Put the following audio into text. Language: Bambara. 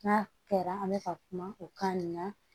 N'a kɛra an bɛ ka kuma o kan nin na